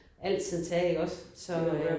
Altid tage iggås så